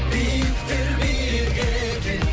биіктер биік екен